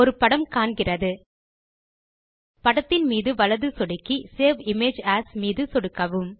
ஒரு படம் காண்கிறது படத்தின் மீது வலது சொடுக்கி சேவ் இமேஜ் ஏஎஸ் ஐ சொடுக்குக